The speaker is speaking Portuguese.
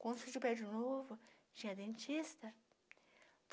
Quando surgiu o prédio novo, tinha dentista.